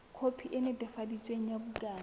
khopi e netefaditsweng ya bukana